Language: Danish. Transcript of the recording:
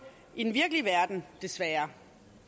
i den virkelige verden desværre